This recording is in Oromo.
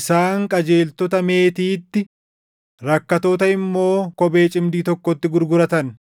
Isaan qajeeltota meetiitti, rakkattoota immoo kophee cimdii tokkotti gurguratan.